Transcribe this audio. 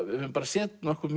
við höfum séð nokkuð